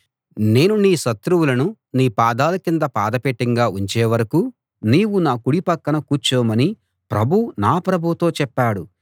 నేను నీ శత్రువులను నీ పాదాల కింద పాదపీఠంగా ఉంచే వరకూ నీవు నా కుడి పక్కన కూర్చోమని ప్రభువు నా ప్రభువుతో చెప్పాడు